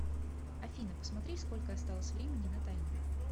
афина посмотри сколько осталось времени на таймере